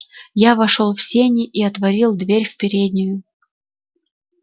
я пошёл в сени и отворил дверь в переднюю